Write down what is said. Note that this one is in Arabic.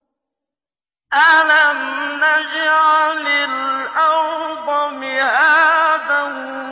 أَلَمْ نَجْعَلِ الْأَرْضَ مِهَادًا